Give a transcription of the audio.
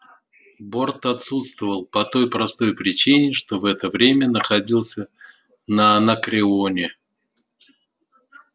борт отсутствовал по той простой причине что в это время находился на анакреоне